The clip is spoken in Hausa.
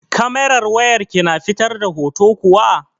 Kamerar wayar ki na fitar da hoto kuwa?